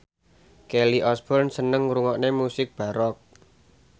Kelly Osbourne seneng ngrungokne musik baroque